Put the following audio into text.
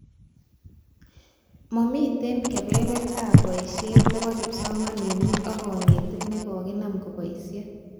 Mamitie kebebertaab boishet nebo kipsomaninik ak konetik nekokinam koboishe